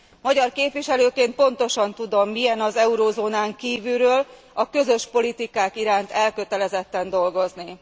Magyar képviselőként pontosan tudom, milyen az eurózónán kívülről, a közös politikák iránt elkötelezetten dolgozni.